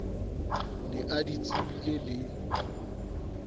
ne a di tsebile le